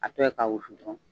A tɔ ye k'a wusu dɔrɔn